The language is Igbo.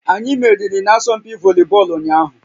Anyị meriri n'asọmpi volibọọlụ ụnyaahụ